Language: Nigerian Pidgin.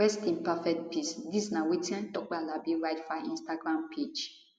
rest in perfect peace dis na wetin tope alabi write for her instagram page